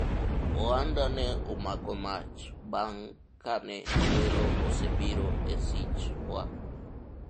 ohanda ne omako mach bang' kane welo osebiro e sich wa